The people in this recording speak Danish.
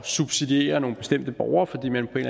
subsidiere nogle bestemte borgere fordi man på en